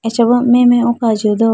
acha bo meh meh oko ajiya do.